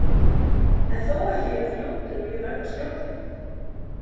En þó ekki jafn fljótir og ég verð að skjóta þig